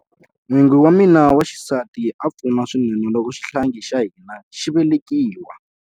N'wingi wa mina wa xisati a pfuna swinene loko xihlangi xa hina xi velekiwa.